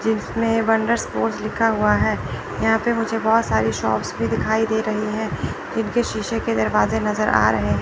लिखा हुआ है यहां पे मुझे बहोत सारी शॉप्स भी दिखाई दे रही है जिनके शीशे के दरवाजे नजर आ रहे है।